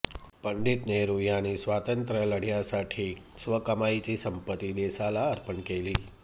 पंडित नेहरू यांनी स्वातंत्र्य लढय़ासाठी स्वकमाईची संपत्ती देशाला अर्पण केली